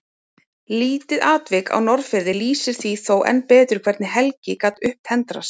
Lítið atvik frá Norðfirði lýsir því þó enn betur hvernig Helgi gat upptendrast.